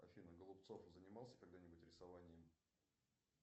афина голубцов занимался когда нибудь рисованием